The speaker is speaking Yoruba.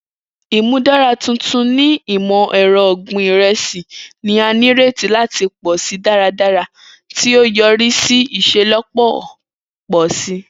Imudara tuntun ni imọ-ẹrọ ogbin iresi ni a nireti lati pọ si daradara, ti o yori si iṣelọpọ pọ si.